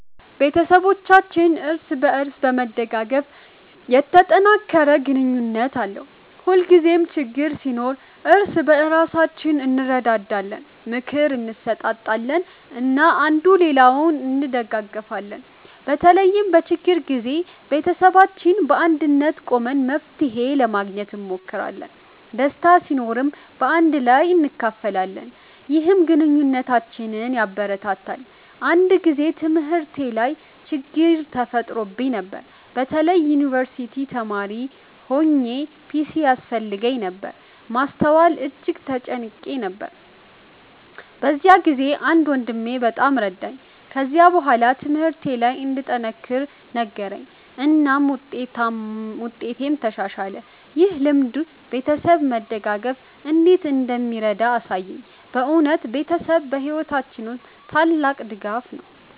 ቤተሰባችን እርስ በእርስ በመደጋገፍ የተጠናከረ ግንኙነት አለው። ሁልጊዜ ችግኝ ሲኖር እርስ በእርሳችን እንረዳዳለን፣ ምክር እንሰጣጣለን እና አንዱ ሌላውን እንደጋገፊለን። በተለይም በችግር ጊዜ ቤተሰባችን በአንድነት ቆመን መፍትሄ ለማግኘት እንሞክራለን። ደስታ ሲኖርም በአንድ ላይ እናካፍላለን፣ ይህም ግንኙነታችንን ያበረታታል። አንድ ጊዜ በትምህርቴ ላይ ችግኝ ተፈጥሮብኝ ነበር። በተለይ የዩንቨርሲቲ ተማሪ ሆኘ ፒሲ ያስፈልገኝ ነበር ማስተዋል እጅግ ተጨንቄ ነበር። በዚያ ጊዜ አንድ ወንድሜ በጣም ረዳኝ። ከዚያ በኋላ ትምህርቴ ለይ እንድጠነክር ነገረኝ እናም ውጤቴም ተሻሻለ። ይህ ልምድ ቤተሰብ መደጋገፍ እንዴት እንደሚረዳ አሳየኝ። በእውነት ቤተሰብ በሕይወታችን ውስጥ ታላቅ ድጋፍ ነው።